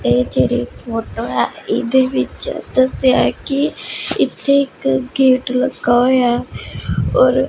ਇਹ ਜਿਹੜੀ ਫੋਟੋ ਹੈ ਇਹਦੇ ਵਿੱਚ ਦੱਸਿਆ ਹੈ ਕੀ ਇੱਥੇ ਇੱਕ ਗੇਟ ਲੱਗਾ ਹੋਇਆ ਔਰ --